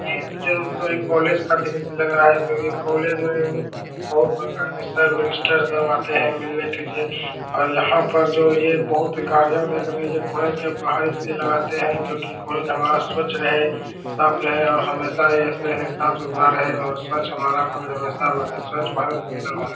ये तो जरुर कोई कॉलेज का दृश्य लग रहा है क्योंकि कॉलेज में उम्म बहुत प्रकार के सर मिनिस्टर सब आते है मिलने के लिए और यहाँ पर जो ये बहुत गाड़ियाँ देख रहे है ये कॉलेज के बाहर इसलिए लगाते है क्योंकि कॉलेज हमारा स्वच्छ रहे साफ रहे और हमेशा ये ऐसे ही साफ-सुथरा रहे और स्वच्छ हमारा कॉलेज हमेशा बने स्वच्छ भारत सुंदर भारत।